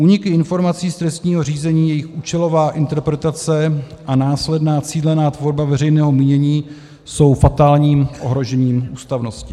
Úniky informací z trestního řízení, jejich účelová interpretace a následná cílená tvorba veřejného mínění jsou fatálním ohrožením ústavnosti.